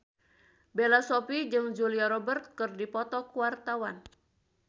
Bella Shofie jeung Julia Robert keur dipoto ku wartawan